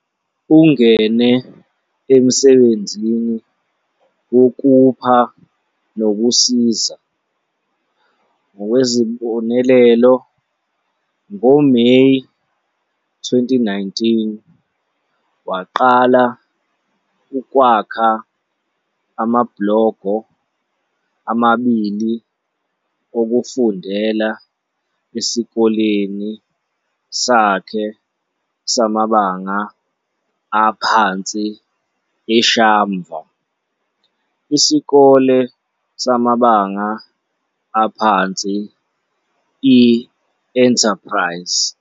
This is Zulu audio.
Ungene emsebenzini wokupha nokusiza, ngokwesibonelo ngoMeyi 2019, waqala ukwakha amabhlogo amabili okufundela esikoleni sakhe samabanga aphansi eShamva, Isikole samabanga aphansi i-Enterprise.